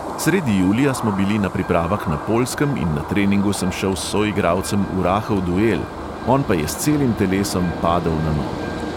Sredi julija smo bili na pripravah na poljskem in na treningu sem šel s soigralcem v rahel duel, on pa je s celim telesom padel na nogo.